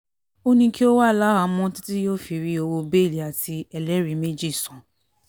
ó ní kí ó wà láhàámọ̀ títí yóò fi rí owó bẹ́ẹ́lí àti ẹlẹ́rìí méjì san